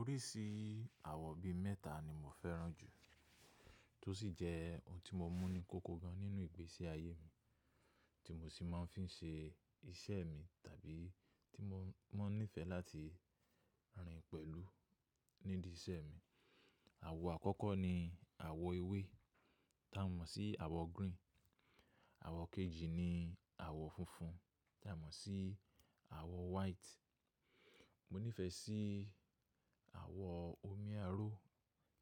Oríṣi àwọ̀ bí mẹ́ta ni mo fẹ́ràn jù tó ṣì jẹ́ ohun tí mo mú ní kókó gan nínú ìgbésí ayé mi, tí mo sì máa ń fi ṣe iṣẹ́ mi tàbí tí mọ máa ń nífẹ̀ẹ́ láti rin pẹ̀lú nídi iṣẹ́ mi. Àwọ̀ àkọ́kọ́ ni àwọ̀ ewé tá mọ̀ sí àwọ̀ green. Àwọ̀ kejì ni àwọ̀ funfun tá mọ̀ sí àwọ̀ white. Mo nífẹ̀ẹ́ sí àwọ̀ omi aró,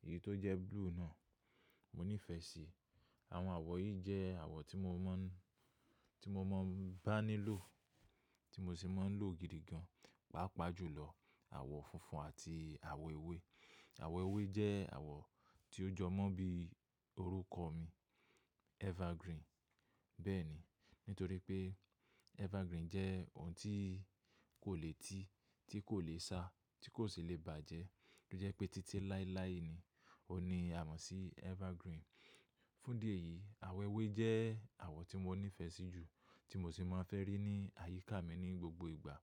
èyí tó jẹ́ blue náà, mo nífẹ̀ẹ́ sí. Àwọn àwọ̀ yìí jẹ́ àwọ̀ tí mo mọ́ ń, tí mo mọ̀ ń bá nílò, tí mo ṣì máa ń lò gidi gan, pàápàá jùlọ àwọ̀ funfun àti àwọ̀ ewé. Àwọ̀ ewé jẹ́ àwọ̀ tí ó jọ mọ́ bí orúkọ mi Evergreen. Bẹ́ẹ̀ni, nítorí pé Evergreen jẹ́ ohun tí kò le tí, tí kò le sá, tí kò sì lè bàjẹ́, tó jẹ́ pé títí láíláí ni óún ni a mọ̀ sí Evergreen. Fún idí ẹ̀yìí, àwọ̀ ewé jẹ́ àwọ̀ tí mo nífẹ̀ẹ́ sí jù, tí mo sì máa ń fẹ́ rí ní àyíká mi ní gbogbo ìgbà,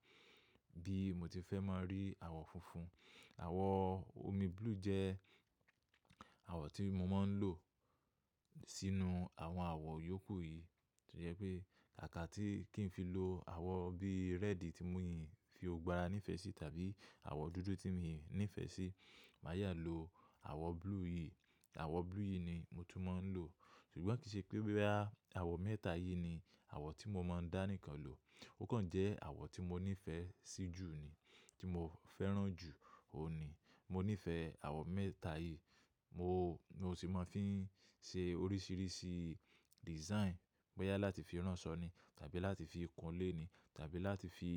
bí mo ti fẹ́ máa rí àwọ̀ funfun. Àwọ̀ omi blue jẹ́ àwọ̀ tí mo máa ń lò sínú àwọn àwọ̀ yòókù yìí. Tó jẹ́ pé káàkà tí kí n fi lo àwọ̀ bíi red tí mi ò fí gbogbo ará nífẹ̀ẹ́ sí tàbí àwọ̀ dúdú tí mi ò nífẹ̀ẹ́ sí, màyá lo àwọ̀ blue yìí. Àwọ̀ blue yìí ni mo tún máa ń lò. Ṣùgbọ́n kìí ṣe pé bóyá, àwọ̀ mẹ́ta yìí ni àwọ̀ tí mo máa ń dá nìkan lò. Ó kàn jẹ́ àwọ̀ tí mo nífẹ̀ẹ́ sí jù ni, tí mo fẹ́ràn jù, òun ni. Mo nífẹ̀ẹ́ àwọ̀ mẹ́teta yìí, mọ, mọ sì máa ń fi ṣe oríṣiríṣi design, bóyá láti fi ránṣọ ni tàbí láti fi kun lé ni tàbí láti fi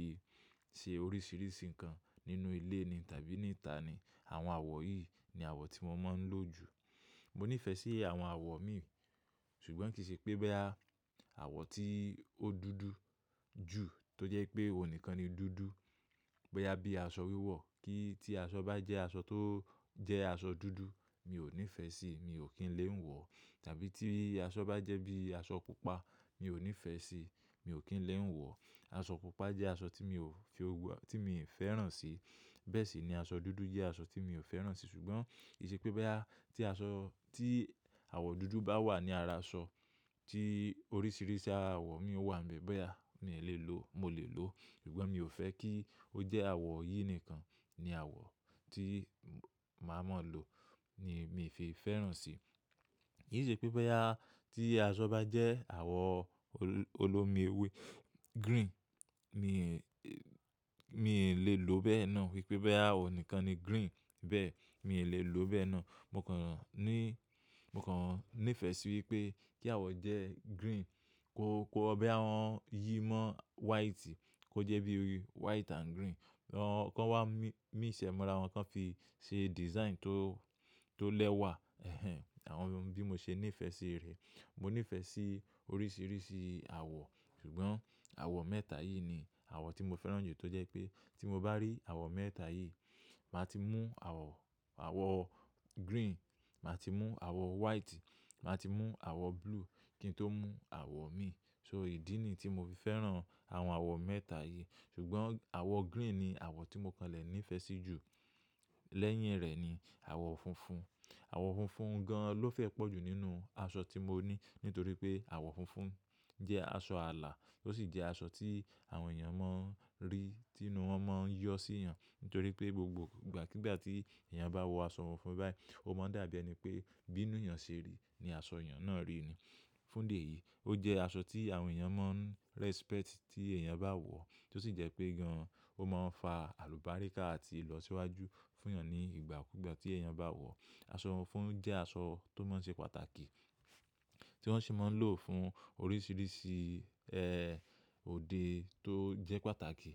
ṣe oríṣiríṣi nǹkan nínú ilé ni tàbí níta ni. Àwọn àwọ̀ yìí ni àwọ̀ tí mo máa ń lò jù. Mo nífẹ̀ẹ́ sí àwọ̀n àwọ̀ mi, ṣùgbọ́n kìí ṣe pé bóyá, àwọ̀ tí ó dúdú jù tó jẹ́ pé òun nìkan ni dúdú, bóyá bí aṣọ wíwọ̀ kí tí aṣọ bá jẹ́ aṣọ tó jẹ́ aṣọ dúdú, mi ò ní fẹ́ síi, mi ò kí ń lé ń wọ̀. Tàbí tí aṣọ bá jẹ́ bí aṣọ pupa, mi ò ní fẹ́ síi, mi ò kí ń lé ń wọ̀. Aṣọ pupa jẹ́ aṣọ tí mi ò fi, tí mi ò fẹ́ràn sí. Bẹ́ẹ̀ ṣì ni aṣọ dúdú jẹ́ aṣọ tí mi ò fẹ́ràn sí. Ṣùgbọ́n kìí ṣe pé bóyá, tí aṣọ, tí àwọ̀ dúdú bá wà ní ara aṣọ tí oríṣìíríṣí àwọ̀ mi ó wà níbẹ̀, bóyá mi ò lè lò, mo lè lò. Ṣùgbọ́n mi ò fẹ́ kí ó jẹ́ àwọ̀ yìí nìkan ni àwọ̀ tí màá mọ̀ lò ni mi ò fi fẹ́ràn sí. Kìí ṣe pé bóyá tí aṣọ bá jẹ́ àwọ̀ olómi ewé green, mí lè lò ó bẹ́ẹ̀ náà. Wípé bóyá ọ̀un nìkan ni green, bẹ́ẹ̀ ni mi lè lò ó bẹ́ẹ̀ náà. Mọ kàn ní, mo kàn nífẹ̀ẹ́ sí wípé kí àwọ̀ jẹ́ green kó, kó bóyá wọn yìí mọ́ white kó jẹ́ bíi white and green. Wọn, kọ́n wá mí, míṣ ẹ̀ mọ́ra wọn, wón kàn fi ṣe design tó, tó lẹ́wà. Ẹ̀hẹn, àwọn bí mo ṣe nífẹ̀ẹ́ sí rẹ̀. Mo nífẹ̀ẹ́ sí oríṣiríṣi àwọ̀, ṣùgbọ́n àwọ̀ mẹ́ta yìí ni àwọ̀ tí mo fẹ́ràn jù tó jẹ́ pé tí mo bá rí àwọ̀ mẹ́ta yìí, màá ti mú àwọ̀, àwọ̀ green, màá ti mú àwọ̀ white, màá ti mú àwọ̀ blue kí n tó mú àwọ̀ mi. So ìdí ni tí mo fi fẹ́ràn àwọn àwọ̀ mẹ́ta yìí. Ṣùgbọ́n àwọ̀ green ni àwọ̀ tí mo kanlẹ̀ nífẹ̀ẹ́ sí jù. Lẹ́yìn rẹ̀ ni àwọ̀ funfun. Àwọ̀ funfun gan ló fẹ́ pọ̀jù nínú aṣọ tí mo ní. Nítorí pé àwọ̀ funfun jẹ́ aṣọ ààlà, ó sì jẹ́ aṣọ tí àwọn èèyàn máa ń rí, tí inú wọn máa ń yọ sí i yán. Nítorí pé gbogbo ìgbà kígbà tí èèyàn bá wọ aṣọ funfun báyìí, ó máa dàbí ẹni pé bí inú èèyàn ṣe rí ni aṣọ èèyàn náà rí i ni. Fún idi ẹ̀ yìí, ó jẹ́ aṣọ tí àwọn èèyàn máa ń respect tí èèyàn bá wọ̀, tó sì jẹ́ pé gan-an ó máa ń fa àlùbáríkà àti ìlọsíwájú fún èèyàn ní ìgbà kúgbà tí èèyàn bá wọ̀. Aṣọ funfun jẹ́ aṣọ tó máa ń ṣe pàtàkì, tí wọ́n sì máa ń lò fún oríṣiríṣi, ẹ́, òde tó jẹ́ pàtàkì.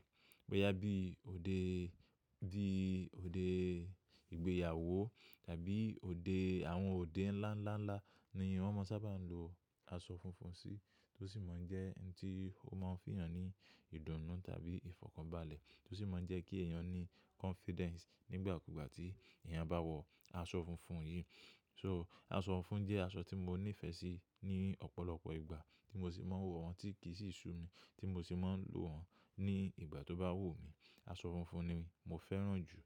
Bóyá bí òde bí òde ìgbéyàwó tàbí òde, àwọn òde ńlá ńlá ńlá ni won máa ń sábà lo aṣọ funfun sí. Tó sì máa ń jẹ́ ẹni tí ó máa ń fi èèyàn ní ìdùnnú tàbí ìfọ̀kànbalẹ̀. Tó sì máa ń jẹ́ kí èèyàn ní confidence nígbà kúgbà tí èèyàn bá wọ aṣọ funfun yìí. So aṣọ funfun jẹ́ aṣọ tí mo nífẹ̀ẹ́ sí ní ọ̀pọ̀lọpọ̀ ìgbà tí mo sì máa ń wọ wọn tí kì í sì sú mi, tí mo sì máa ń lò wọ́n ní ìgbà tó bá wù mí. Aṣọ funfun ni mo fẹ́ràn jù.